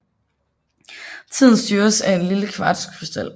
Tiden styres af en lille kvartskrystal